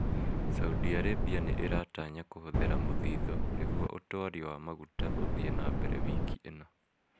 Saudi Arabia nĩ ĩratanya kũhũthĩra mũthithũ nĩguo ũtwari wa maguta ũthii na mbere wiki ĩno